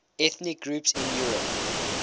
ethnic groups in europe